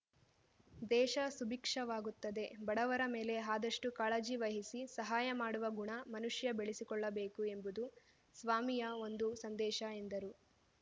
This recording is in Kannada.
ದೇಶ ಸುಭೀಕ್ಷವಾಗುತ್ತದೆ ಬಡವರ ಮೇಲೆ ಆದಷ್ಟುಕಾಳಜಿ ವಹಿಸಿ ಸಹಾಯ ಮಾಡುವ ಗುಣ ಮನುಷ್ಯ ಬೆಳೆಕೊಳ್ಳಬೇಕು ಎಂಬುದು ಸ್ವಾಮಿಯ ಒಂದು ಸಂದೇಶ ಎಂದರು